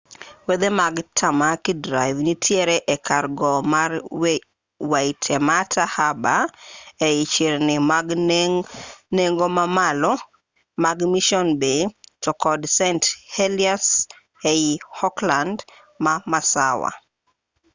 wedhe mag tamaki drive nitiere e kar gowo ma waitemata harbour ei chirni mag nengo mamalo mag mission bay to kod st heliers ei auckland ma masawa